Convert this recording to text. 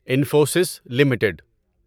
Infosys limited